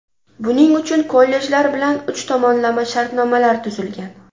Buning uchun kollejlar bilan uch tomonlama shartnomalar tuzilgan.